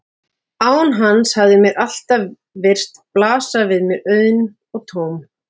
Án hans hafði mér alltaf virst blasa við mér auðn og tóm.